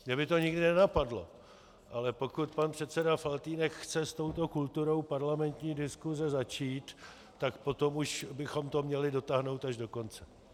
Mě by to nikdy nenapadlo, ale pokud pan předseda Faltýnek chce s touto kulturou parlamentní diskuse začít, tak potom už bychom to měli dotáhnout až do konce.